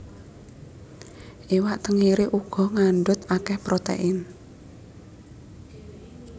Iwak tenggiri uga ngandhut akeh protein